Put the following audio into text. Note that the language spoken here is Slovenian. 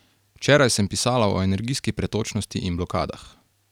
Včeraj sem pisala o energijski pretočnosti in blokadah.